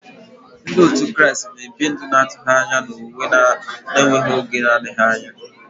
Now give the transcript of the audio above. Ndị òtù Kraịst na-ebi ndụ na-atụ anya na owuwe ga-eme n'oge adịghị anya.